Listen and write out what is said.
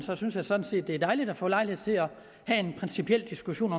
synes jeg sådan set det er dejligt at få lejlighed til at have en principiel diskussion